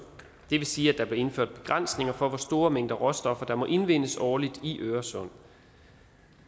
det vil sige at der blev indført begrænsninger for hvor store mængder råstoffer der må indvindes årligt i øresund